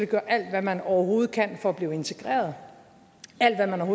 gøre alt hvad man overhovedet kan for at blive integreret alt hvad man